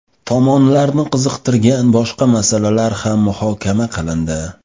Tomonlarni qiziqtirgan boshqa masalalar ham muhokama qilindi.